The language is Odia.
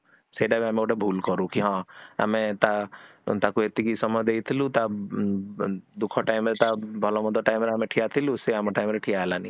ସେତାବି ଆମେ ଗୋଟେ ଭୁଲ କରୁ କି ହଁ ଆମେ ତା ତାକୁ ଏତିକି ସମୟ ଦେଇଥିଲୁ ତା ଦୁଃଖ time ରେ ତା ଭଲ ମନ୍ଦ time ରେ ଆମେ ଠିଆଥିଲୁ, ସେ ଆମ time ରେ ଠିଆ ହେଲାନି